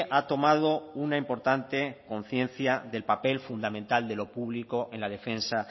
ha tomado una importante conciencia del papel fundamental de lo público en la defensa